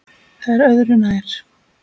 Það er öðru nær.